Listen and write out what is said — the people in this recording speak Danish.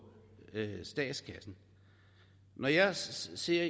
statskassen når jeg ser